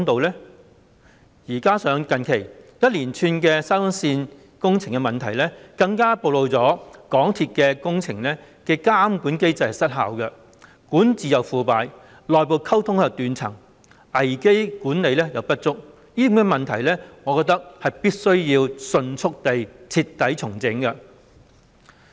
再加上最近一連串沙中線的工程問題，更暴露了港鐵公司的工程監管機制失效，管治腐敗，內部溝通斷層，危機管理不足，我認為這些問題必須迅速徹底整頓。